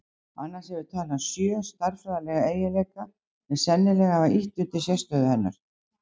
Annars hefur talan sjö stærðfræðilega eiginleika sem sennilega hafa ýtt undir sérstöðu hennar.